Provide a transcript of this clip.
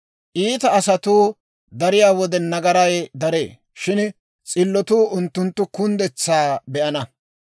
Iita asatuu dariyaa wode, nagaray daree; shin s'illotuu unttunttu kunddetsaa be'ana.